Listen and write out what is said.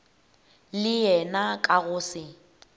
le yena ka go se